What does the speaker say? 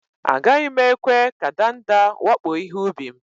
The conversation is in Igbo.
Agaghi m ekwe ka ndanda wakpo ihe-ubi m